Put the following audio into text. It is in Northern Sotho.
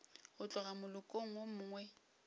go tloga molokong wo mongwe